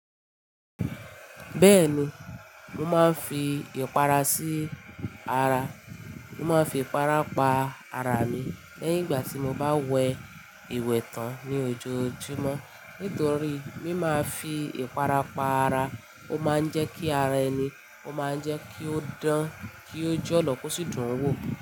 Bẹ́ẹ̀ni, mo máa ń fi ìpara sí ara. Mo máa ń fi ìpara pa ara mi lẹ́yìn ìgbà tí mo bá wẹ ìwẹ̀ tán ní ojoojúmọ́. Nítorí bí mo màá fi ìpara pa ara, ó máa ń jẹ́ kí ara ẹni, ó máa ń jẹ́ kí ó dán, kí ó jẹ́ ọlọ́ kó síì dún wo.